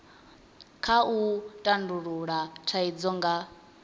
kha u tandulula thaidzo nga